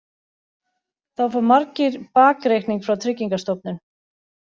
Þá fá margir bakreikning frá Tryggingastofnun